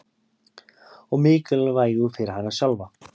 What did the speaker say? Og mikilvægu fyrir hana sjálfa.